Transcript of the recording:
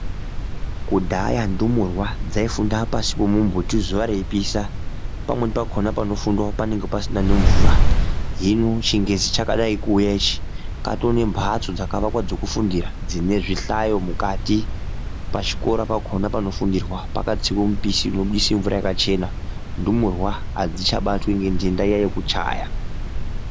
Kudhaya ndumurwa dzai funda pashi pe mumbuti zuva rei pisha pamweni pakona pano fundwa panenge pasina ne mvura hino chingezi chakadai kuuya ichi patone mbatso dzaka aka wakwa dzeku fundira dzine zvi hlayo mukati pachikora pakona pano fundirwa pakatsiwe mbishi ino budise mvura yakachena ndumurwa adzicha batwi nge dhenda iya yekuchaya.